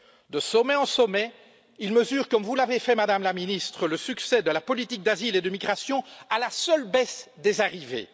De sommet en sommet, ils mesurent, comme vous l'avez fait, Madame la Ministre, le succès de la politique d'asile et de migration à la seule aune de la baisse des arrivées.